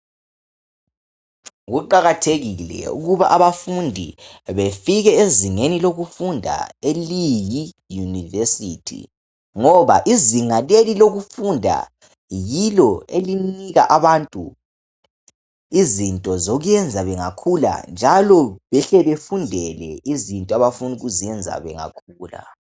Kuqakathekile ukuba abafundi befike ezingeni lokufunda eliyiuniversity .Ngoba izinga leli lokufunda yilo elinika abantu izinto zokwenza bengakhula njalo behle befundele izinto abafuna ukuzenza bengakhula .